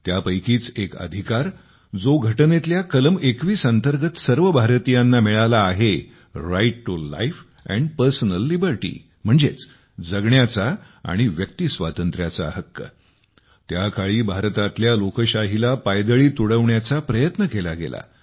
त्यापैकीच एक अधिकार जो घटनेतल्या कलम 21 अंतर्गत सर्व भारतीयांना मिळाला आहे राइट टू लाईफ आणि पर्सनल लिबर्टी म्हणजेच जगण्याचा आणि व्यक्ती स्वातंत्र्याचा हक्क त्या काळी भारतातल्या लोकशाहीला पायदळी तुडविण्याचा प्रयत्न केला गेला